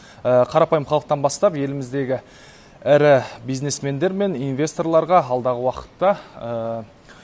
қарапайым халықтан бастап еліміздегі ірі бизнесмендер мен инвесторларға алдағы уақытта